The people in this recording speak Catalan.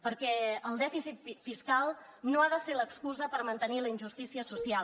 perquè el dèficit fiscal no ha de ser l’excusa per mantenir la injustícia social